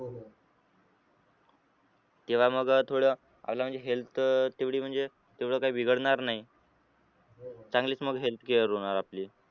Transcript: तेव्हा मग थोडं health तेवढी म्हणजे तेवढं काही बिघडणार नाही चांगलीच मग healthcare होनार आपली.